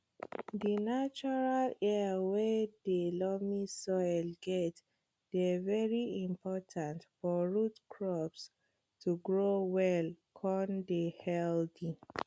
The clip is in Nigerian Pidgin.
di natural air wey dey loamy soil get dey very important for root crops to grow well con dey healthy